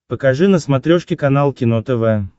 покажи на смотрешке канал кино тв